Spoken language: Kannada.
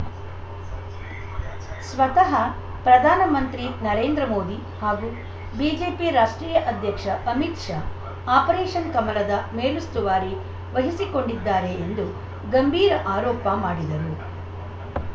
ಸ್ವತಃ ಪ್ರಧಾನಮಂತ್ರಿ ನರೇಂದ್ರ ಮೋದಿ ಹಾಗೂ ಬಿಜೆಪಿ ರಾಷ್ಟ್ರೀಯ ಅಧ್ಯಕ್ಷ ಅಮಿತ್‌ ಶಾ ಆಪರೇಷನ್‌ ಕಮಲದ ಮೇಲುಸ್ತುವಾರಿ ವಹಿಸಿಕೊಂಡಿದ್ದಾರೆ ಎಂದು ಗಂಭೀರ ಆರೋಪ ಮಾಡಿದರು